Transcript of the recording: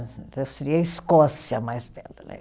Seria a Escócia mais